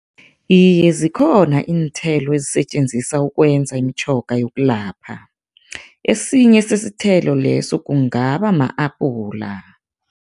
Iye, zikhona iinthelo ezisetjenziswa ukwenza imitjhoga yokulapha, esinye sesithelo leso kungaba ma-apula.